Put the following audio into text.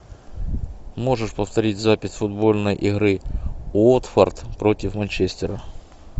можешь повторить запись футбольной игры уотфорд против манчестера